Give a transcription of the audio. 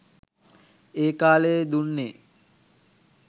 ඒ කාලයේ දුන්නේ